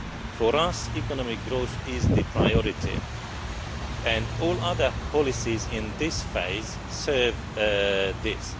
For us, economic growth is the priority and all other policies in this phase serve this.